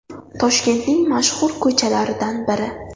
Toshkentning mashhur ko‘chalaridan biri.